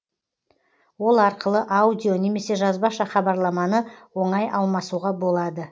ол арқылы аудио немесе жазбаша хабарламаны оңай алмасуға болады